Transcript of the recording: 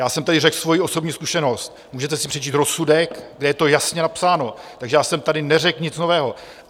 Já jsem tady řekl svoji osobní zkušenost, můžete si přečíst rozsudek, kde je to jasně napsáno, takže já jsem tady neřekl nic nového.